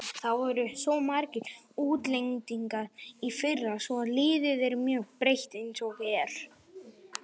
Það voru svo margir útlendingar í fyrra svo liðið er mjög breytt eins og er.